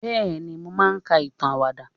bẹẹni, mo maa n ka itan awada.